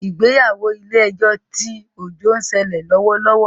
Ìgbéyàwó ilè ejó tí Ojo ń sele lówó lówó